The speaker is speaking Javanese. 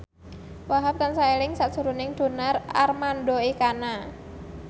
Wahhab tansah eling sakjroning Donar Armando Ekana